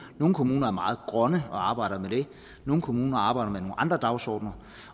nogle kommuner er meget grønne og arbejder med det nogle kommuner arbejder med nogle andre dagsordener